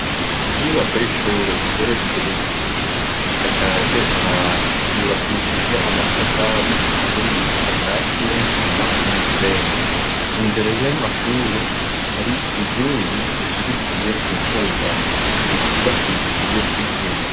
Inyubako y'ishure igeretse rimwe isakaje amabati yubakishije amatafari aturiye akati ya n'isima n'umusenyi. Imbere y'amashure hari inkingi zishigikiye ubwugamo zikubakishije isima.